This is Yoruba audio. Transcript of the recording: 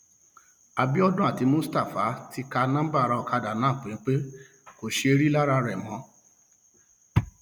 àbíọdún àti mustapha ti ka um nọńbà ará ọkadà náà péńpé kò um ṣeé rí i lára rẹ mọ